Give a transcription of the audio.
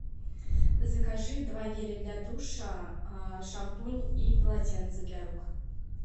закажи два геля для душа шампунь и полотенце для рук